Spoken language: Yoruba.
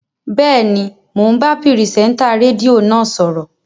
Bẹ́ẹ̀ni, mò ń bá pìrìsẹ́ńtà rédíò náà sọ̀rọ̀